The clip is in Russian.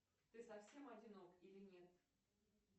ты совсем одинок или нет